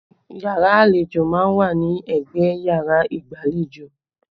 Yàrá àlejò má ń wà ní ẹgbẹ́ yàrá igbalejo